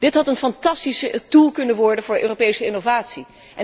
Dit had een fantastisch doel kunnen worden voor Europese innovatie